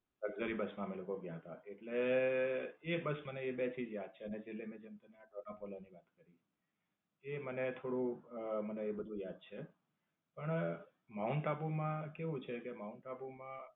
સરકારી બસ માં અમે લોકો ગયા હતા. એટલે, એ બસ મને બે થી જ યાદ છે અને એટલે જેમ તમે આ ડોનાપોલા ની વાત કરી એ મને થોડુંક અમ મને એ બધું યાદ છે. પણ, માઉન્ટ આબુ માં કેવું છે કે માઉન્ટ આબુ માં